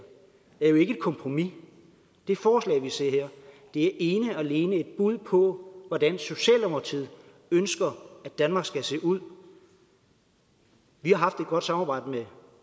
er jo ikke et kompromis det forslag vi ser her er ene og alene et bud på hvordan socialdemokratiet ønsker at danmark skal se ud vi har haft et godt samarbejde med